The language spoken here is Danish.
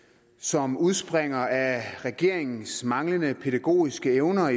som udspringer af regeringens manglende pædagogiske evner